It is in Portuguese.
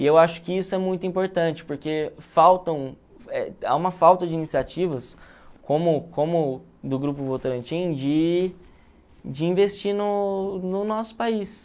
E eu acho que isso é muito importante, porque faltam eh há uma falta de iniciativas, como como do Grupo Votorantim, de de investir no no nosso país.